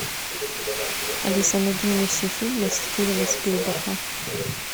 алиса найди мне все фильмы стивена спилберга